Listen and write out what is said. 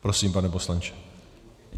Prosím, pane poslanče.